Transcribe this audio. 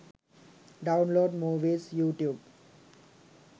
download movies youtube